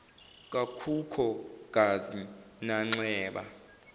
kakhukho gazi nanxeba